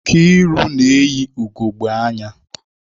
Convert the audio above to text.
Nkiru na eyi ugogbe anya